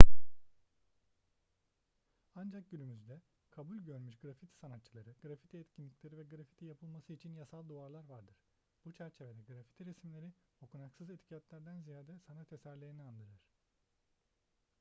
ancak günümüzde kabul görmüş grafiti sanatçıları grafiti etkinlikleri ve grafiti yapılması için yasal duvarlar vardır bu çerçevede grafiti resimleri okunaksız etiketlerden ziyade sanat eserlerini andırır